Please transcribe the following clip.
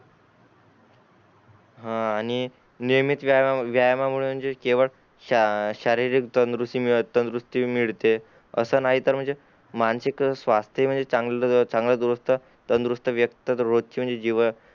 हान आणि नियमित व्यायामा व्यायामामुळे म्हणजे केवळ शा शारीरिक तंदुरुस्ती मीळत तंदुरुस्ती मिळते अस नाही तर म्हणजे मांनासिक स्वास्थ म्हणजे चांगलं चांगलं दुरुस्त तंदुरुस्त व्यक्त म्हणजे जीवन